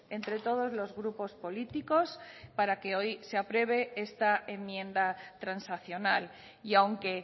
entre todos los grupos políticos para que hoy se apruebe esta enmienda transaccional y aunque